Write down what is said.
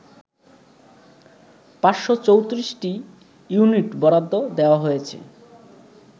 ৫৩৪টি unit বরাদ্দ দেয়া হয়েছে